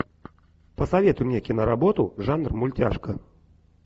посоветуй мне киноработу жанр мультяшка